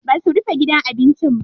Basu rufe gidan abincin ba.